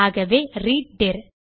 ஆகவே ரீட் டிர்